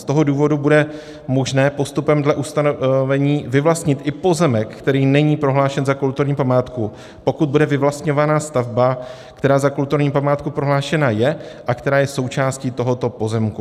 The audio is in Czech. Z toho důvodu bude možné postupem dle ustanovení vyvlastnit i pozemek, který není prohlášen za kulturní památku, pokud bude vyvlastňovaná stavba, která za kulturní památku prohlášena je a která je součástí tohoto pozemku.